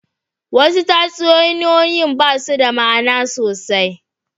Wasu tatsuniyoyin ba su da ma'ana sosai.